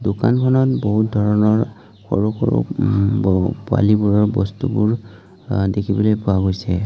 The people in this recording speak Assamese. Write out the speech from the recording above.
দোকানখনত বহুত ধৰণৰ সৰু-সৰু উম ব পোৱালীবোৰৰ বস্তুবোৰ অ দেখিবলৈ পোৱা গৈছে।